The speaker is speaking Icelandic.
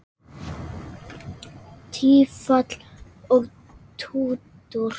Þín minning lifir að eilífu.